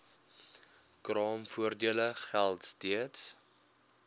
kraamvoordele geld steeds